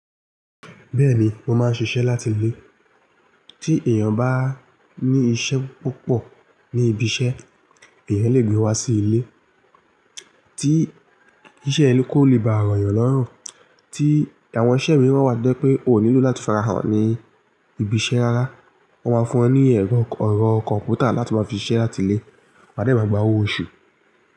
Bẹ́ẹ̀ni, mo máa ń ṣiṣẹ́ láti ilé. Tí èèyàn bá ní iṣẹ́ púpọ̀ ní ibi iṣẹ́, èèyàn lè gbé wá sí ilé. Tí iṣẹ́ ẹni kò lè bá àrà yàn lọ́rùn, tí àwọn iṣẹ́ mi rán wá to je wipé o nílò láti farahàn ní ibi iṣẹ́ rárá, wọ́n máa fún ẹ ní ẹ̀rọ, ẹrọ kọ́mpútà láti wa fi siṣẹ́ láti ilé. Wá de bá gba owó oṣù.